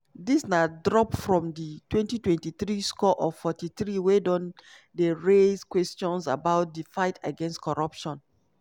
dis na drop from di 2023 score of 43 wey don dey raise questions about di fight against corruption.